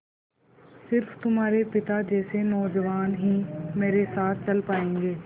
स़िर्फ तुम्हारे पिता जैसे नौजवान ही मेरे साथ चल पायेंगे